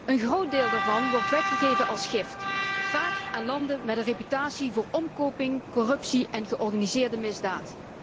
Een groot deel daarvan wordt weggegeven als gift, vaak aan landen met een reputatie van omkoping, corruptie en georganiseerde misdaad.